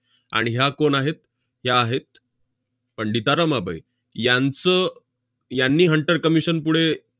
आणि ह्या कोण आहेत? या आहेत पंडिता रमाबाई. यांचं~ यांनी hunter commission पुढे